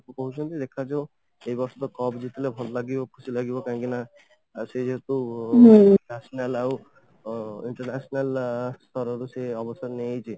କହୁଛନ୍ତି ଦେଖାଯିବ ଏଇ ବର୍ଷ cup ଜିତିଲେ ଭଲ ଲାଗିବ ଖୁସି ଲାଗିବ କାହିଁକିନା ସେ ଯେହେତୁ national ଆଉ international ସ୍ତରରୁ ସିଏ ଅବସର ନେଇଯାଇଛି